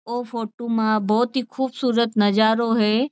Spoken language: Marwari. वो फोटू मा बहुत ही खूबसूरत नजारो है।